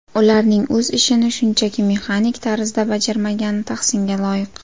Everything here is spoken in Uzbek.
Ularning o‘z ishini shunchaki mexanik tarzda bajarmagani tahsinga loyiq.